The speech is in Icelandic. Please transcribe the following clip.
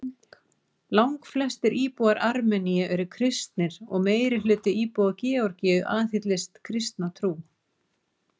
Langflestir íbúar Armeníu eru kristnir og meirihluti íbúa Georgíu aðhyllist kristna trú.